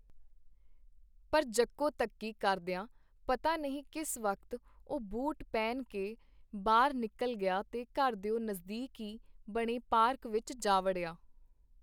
ਪਰ ਜੱਕੋ ਤੱਕੀ ਕਰਦੀਆਂ ਪਤਾ ਨਹੀਂ ਕਿਸ ਵਕਤ ਉਹ ਬੂਟ ਪਹਿਨ ਕੇ ਬਾਹਰ ਨਿਕਲ ਗਿਆ ਤੇ ਘਰ ਦਿਓ ਨਜ਼ਦੀਕ ਈ ਬਣੇ ਪਾਰਕ ਵਿੱਚ ਜਾ ਵੜਿਆ .